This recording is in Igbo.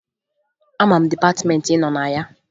Ama m dịpatịmeentị ị nọ na ya